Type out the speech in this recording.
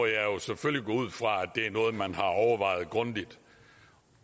jeg selvfølgelig gå ud fra at det er noget man har overvejet grundigt